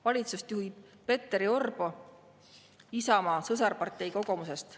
Valitsust juhib Petteri Orpo Isamaa sõsarparteist Kokoomusest.